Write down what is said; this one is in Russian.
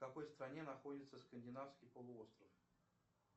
в какой стране находится скандинавский полуостров